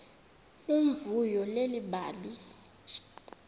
nomvuyo leli bali